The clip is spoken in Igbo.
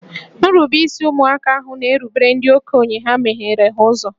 Nrubeisi ụmụaka ahụ na-erubere ndị okenye ha megheere ha ụzọ